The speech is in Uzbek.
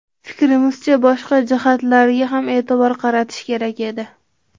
Fikrimizcha, boshqa jihatlarga ham e’tibor qaratish kerak edi.